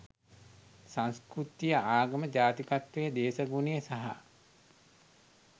සංස්කෘතිය ආගම ජාතිකත්වය දේශගුණය සහ